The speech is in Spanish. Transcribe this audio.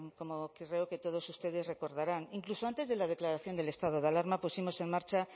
como creo que todos ustedes recordarán incluso antes de la declaración del estado de alarma pusimos en marcha